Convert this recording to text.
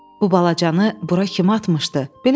Bu balacanı bura kim atmışdı?